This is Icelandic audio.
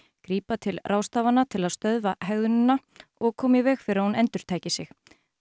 grípa til ráðstafana til að stöðva hegðunina og koma í veg fyrir að hún endurtæki sig